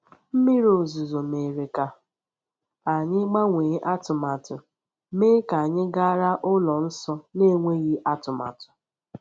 Mmiri ozuzo mere ka anyị gbanwee atụmatụ, mee ka anyị gara ụlọ nsọ n’enweghị atụmatụ.